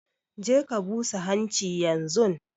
Je ka busa hanchi yanzun!